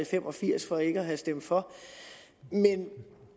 fem og firs for ikke at have stemt for men